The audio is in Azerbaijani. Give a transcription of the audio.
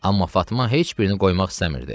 Amma Fatma heç birini qoymaq istəmirdi.